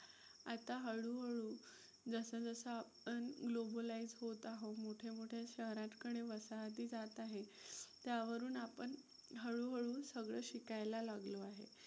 आता हळूहळू जसं जसं आपण Globalise होत आहोत, मोठे मोठे शहरांकडे वसाहती जात आहे त्यावरून आपण हळूहळू सगळं शिकायला लागलो आहे.